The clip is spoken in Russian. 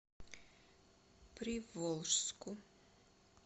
приволжску